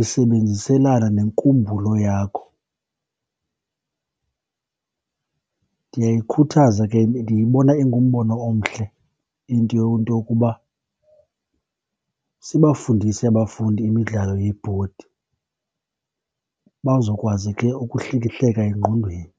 isebenziselana nenkumbulo yakho. Ndiyayikhuthaza ke, ndiyibona ingumbona omhle into into yokuba sibafundisi abafundi imidlalo yebhodi bazokwazi ke ukuhlikihleka engqondweni.